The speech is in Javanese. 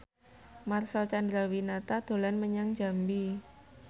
Marcel Chandrawinata dolan menyang Jambi